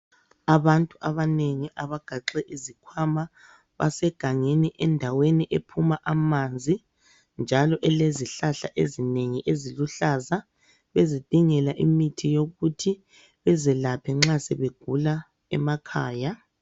Abantu abanengi abagaxe izikhwama basegangeni endaweni ephuma amanzi njalo elezihlahla ezinengi eziluhlaza bezidingela imithi yokuthi bezalaphe nxa sebegula emakhaya.